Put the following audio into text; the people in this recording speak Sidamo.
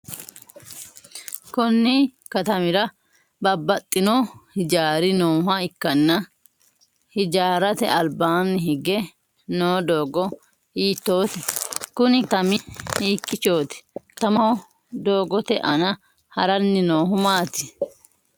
Konni katamira babbaxino hijaari nooha ikanna hijaarate albaanni hige noo doogo hiitoote? Kunni katami hiikiichooti? katamaho doogote aanna haranni noohu maati?